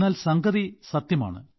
എന്നാൽ സംഗതി സത്യമാണ്